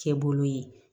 Kɛ bolo ye